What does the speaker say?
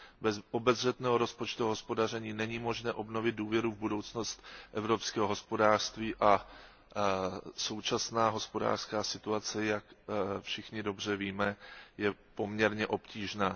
Bez obezřetného rozpočtového hospodaření není možné obnovit důvěru v budoucnost evropského hospodářství a současná hospodářská situace, jak všichni dobře víme, je poměrně obtížná.